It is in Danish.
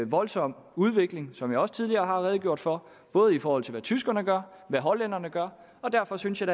voldsom udvikling som jeg også tidligere har redegjort for både i forhold til hvad tyskerne gør og hvad hollænderne gør og derfor synes jeg